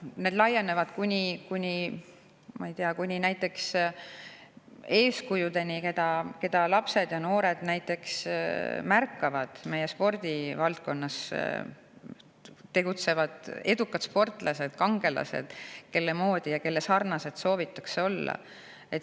See laieneb, ma ei tea, näiteks eeskujudeni, keda lapsed ja noored märkavad meie spordivaldkonnas: edukad sportlased, kangelased, kelle moodi ja kelle sarnased soovitakse olla.